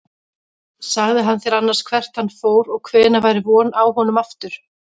Sagði hann þér annars hvert hann fór og hvenær væri von á honum aftur?